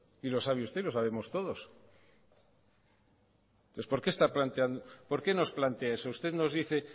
y lo sabe usted y lo sabemos todos por qué nos plantea eso usted nos dice